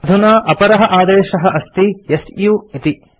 अधुना अपरः आदेशः अस्ति सु इति